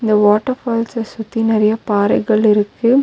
இந்த water falls சுத்தி நெறைய பாறைகள் இருக்கு.